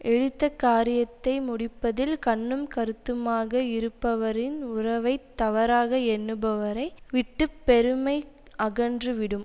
எடுத்த காரியத்தை முடிப்பதில் கண்ணும் கருத்துமாக இருப்பவரின் உறவை தவறாக எண்ணுபவரை விட்டு பெருமை அகன்று விடும்